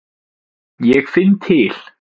Ég finn til.